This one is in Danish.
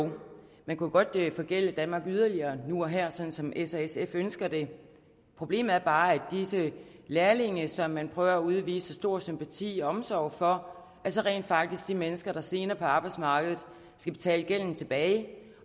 man kunne godt forgælde danmark yderligere nu og her sådan som s og sf ønsker det problemet er bare at disse lærlinge som man prøver at udvise stor sympati og omsorg for altså rent faktisk er de mennesker der senere på arbejdsmarkedet skal betale gælden tilbage